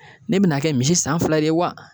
Ne bi na kɛ misi san fila ye wa?